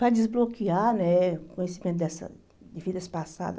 para desbloquear eh o conhecimento de vidas passadas.